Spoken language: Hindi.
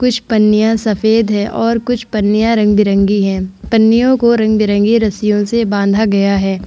कुछ पन्निया सफ़ेद है और कुछ पन्निया रंग-बिरंगी है | पन्नियों को रंग-बिरंगी रस्सियों से बांधा गया है।